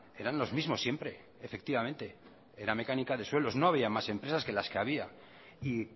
eran los mismos siempre efectivamente era mecánica de suelos no había más empresas que las que había y